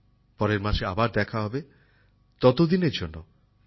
পরের মাসে আবার দেখা হবে ততদিনের জন্য আমায় বিদায় দিন